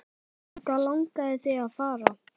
Þangað langaði þig að fara.